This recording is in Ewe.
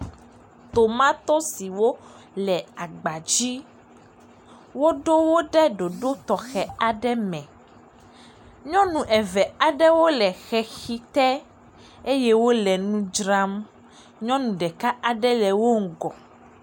Tomatosiwo le agbadzi. Woɖowo ɖe ɖoɖo tɔxɛ aɖe me. Nyɔnu eve aɖewo le xexite eye wole nu dzram. Nyɔnu ɖeka aɖe le wo ŋgɔ.